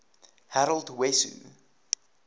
harold wesso